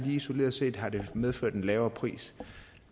isoleret set har det medført en lavere pris